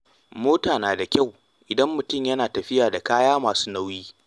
Mota na da kyau idan mutum yana tafiya da kaya masu nauyi.